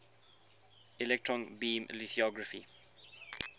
electron beam lithography